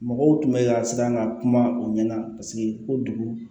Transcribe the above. Mɔgɔw tun bɛ ka siran ka kuma u ɲɛ na paseke ko dugu